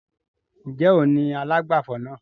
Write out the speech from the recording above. Ń jẹ́ òun ni alágbàfọ̀ náà?